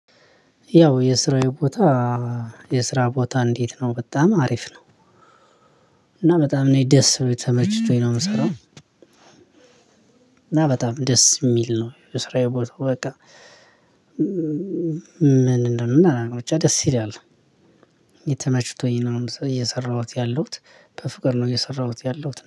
ያው የስራዬ ቦታ የስራ ቦታ? እንዴት ነው በጣም አሪፍ ነው። እና በጣም ነው ደስ ብሎኝ ተመችቶኝ ነው የምሰራው። እና በጣም ደስ የሚል ነው የስራ ቦታ በቃ። ምን እንደምል አላውቅም ብቻ ደስ ይላል። የተመችቶኝ ነው እየሰራሁት ያለሁት በፍቅር ነው እየሰራሁት ያለሁት